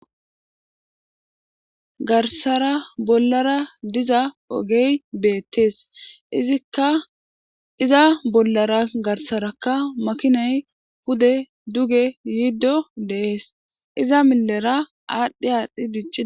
Garsara bollara diza ogey beettees izikka iza bollara garsarakka makinay pude duge yiiddo deees iza milera aadhdhe aadhdhi dic.